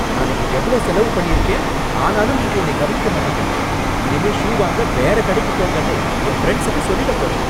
நான் இங்க எவ்ளோ செலவு பண்ணிருக்கேன் ஆனாலும் நீங்க என்னை கவனிக்க மாட்டேங்குறீங்க. இனிமே ஷூ வாங்க வேற கடைக்குப் போங்கன்னு என் ஃபிரண்ட்சுக்கு சொல்லிடப் போறேன்.